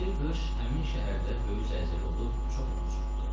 Bir qış həmin şəhərdə böyük zəlzələ olub çox ev uçurtdurdu.